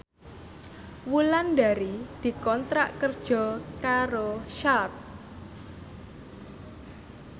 Wulandari dikontrak kerja karo Sharp